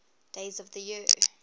days of the year